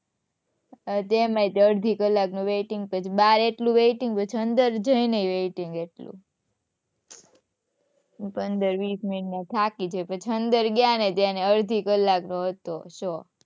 તેમાંય તો અડધી કલાક નું waiting